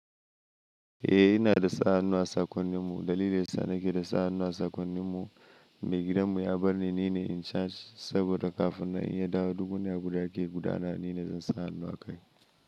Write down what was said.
Eh ina da sa hannuwa a sakonnin mu. Dalilin sa nake da sa hannuwa a sakonnin mu, mai gidan mu ya bar ni nine in charge saboda kafin nan in ya dawo duk wani abu da ake gudana nine zan sa hannu akai.